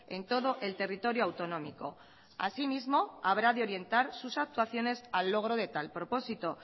en todo el territorio autonómico asimismo habrá de orientar sus actuaciones al logro de tal propósito